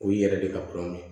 O yɛrɛ de ka kuranɛ